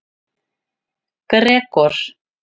Gregor